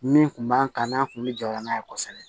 Min tun b'an kan n'a kun bɛ jɔyɔrɔ n'a ye kosɛbɛ